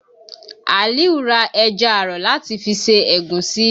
Àlíù ra ẹja àrọ̀ láti fi ṣe ẹ̀gúsí